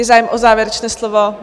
Je zájem o závěrečné slovo?